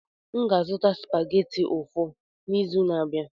M ga-azụta supageti ụfọ n'izu na-abịa.